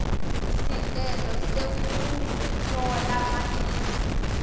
sicelo sekutfola matisi